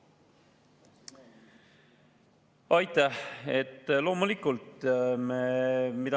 Aitäh!